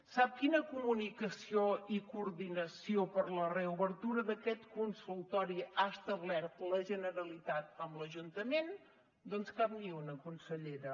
sap quina comunicació i coordinació per a la reobertura d’aquest consultori ha establert la generalitat amb l’ajuntament doncs cap ni una consellera